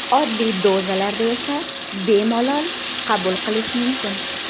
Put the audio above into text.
Oddiy dozalarda esa bemalol qabul qilish mumkin.